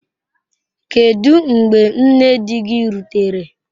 Kedu mgbe nne di gị rutere?